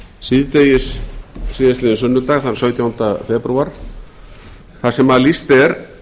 síðdegis síðastliðinn sunnudag þann sautjánda febrúar þar sem lýst er